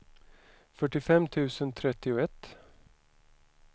fyrtiofem tusen trettioett